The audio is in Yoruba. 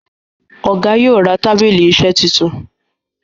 Ọgá yóò rà tábìlì iṣe títún.